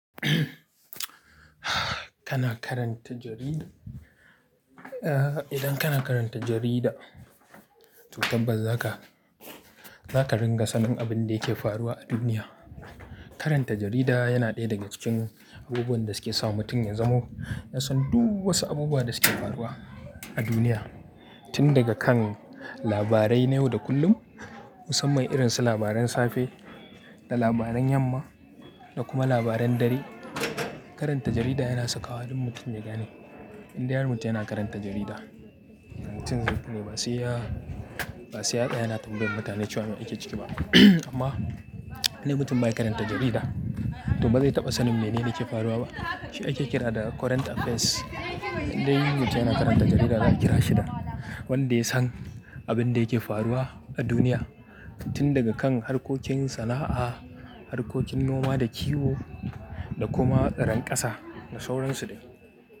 Kana karanta jarida? Eh, idan kana karanta jarida, to tabbas zaka, zaka ringa sanin abin da yake faruwa a duniya. Karanta jarida yana ɗaya daga cikin abubuwan da suke sa mutum ya zamo ya san duk wasu abubuwa da suke faruwa a duniya. Tun daga kan labarai ne yau da kullum, musamman irin su labaran safe da labaran yamma da kuma labaran dare. Karanta jarida yana sakawa duk mutum ya gane. Indai har mutum yana karanta jarida, mutum zai fi ne ba sai ya, ba sai ya tsaya yana tambayan mutane cewa me yake ciki ba. Amma idan mutum bai karanta jarida, to ba zai taɓa sanin mene ne ke faruwa ba. Shi ake kira da current affairs. Indai mutum yana karanta jarida za a kira shi da wanda ya san abin da yake faruwa a duniya tun daga kan harkokin sana'a, harkokin noma da kiwo da kuma irin ƙasa da sauransu dai.